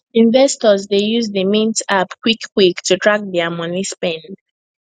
investors dey use the mint app quick quick to track their money spend